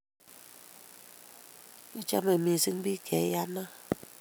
kichomei mising biik che iyanat